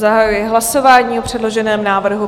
Zahajuji hlasování o předloženém návrhu.